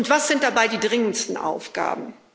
Was sind dabei die dringendsten Aufgaben?